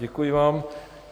Děkuji vám.